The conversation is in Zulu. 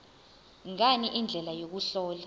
ngani indlela yokuhlola